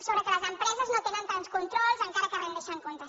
sobre el fet que les empreses no tenen tants controls encara que rendeixen comptes